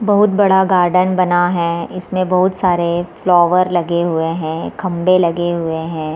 बहुत बड़ा गार्डन बना हुआ है इसमें बहुत सारे फ्लावर लगे हुए हैं खम्बे लगे हुए हैं।